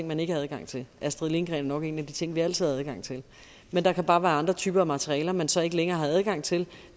man ikke har adgang til astrid lindgren er nok en af de ting vi altid har adgang til men der kan bare være andre typer materialer man så ikke længere har adgang til